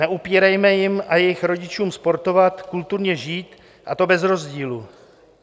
Neupírejme jim a jejich rodičům sportovat, kulturně žít, a to bez rozdílu.